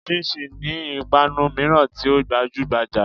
Chinchin' ni ìpanu míràn tí ó gbajúgbajà